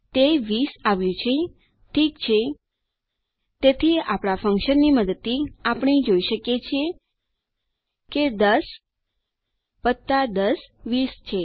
તે 20 આવ્યું છે ઠીક છે તેથી આપણા ફન્કશનની મદદ થી આપણે જોઈ શકીએ કે 10 10 20 છે